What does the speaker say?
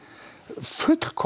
fullkomnað